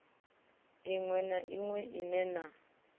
ḽiṋwe na ḽiṋwe ḽine lṅa